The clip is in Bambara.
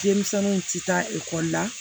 Denmisɛnninw tɛ taa ekɔli la